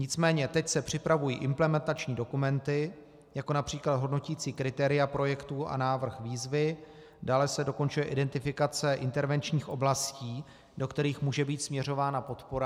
Nicméně teď se připravují implementační dokumenty, jako například hodnoticí kritéria projektů a návrh výzvy, dále se dokončuje identifikace intervenčních oblastí, do kterých může být směřována podpora.